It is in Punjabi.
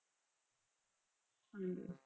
ਹਾਂਜੀ